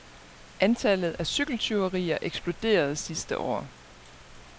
Antallet af cykeltyverier eksploderede sidste år.